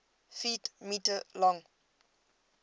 ft m long